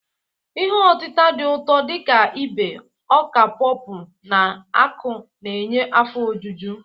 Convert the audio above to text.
Ihe otita dị ụtọ dị ka ibe, oka popu na akụ na-enye afọ ojuju.